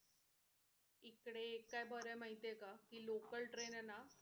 इकडे एक काय बर माहिते का कि local train आहे ना,